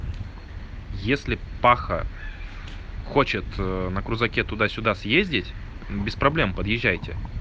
если паха хочет на крузаке туда-сюда съездить без проблем подъезжаете